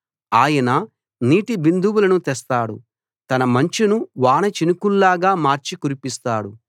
ఆయన నీటిబిందువులను తెస్తాడు తన మంచును వానచినుకుల్లాగా మార్చి కురిపిస్తాడు